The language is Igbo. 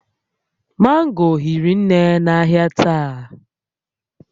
Mango hiri nne n'ahịa taa